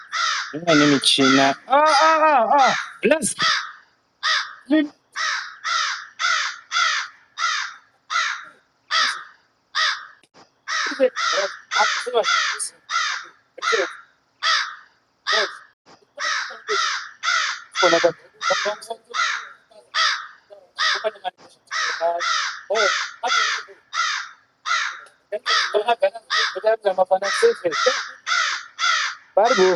Imweni michina aaaa aa blaz ..... chii ......kuri cy blaz aa ...bol sei madhiri .......hoo anotengese foni .......mukaona ganazi momubvunza kuti hanzi nama fana sefi ere pari bhoo.